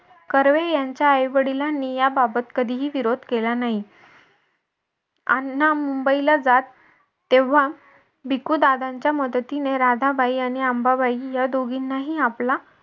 कर्वे यांच्या आई वडिलांनी याबाबत कधीही विरोध केला नाही. अण्णा मुंबईला जात तेव्हा भिकू दादांच्या मदतीने राधाबाई आणि अंबाबाई या दोघींनाही आपला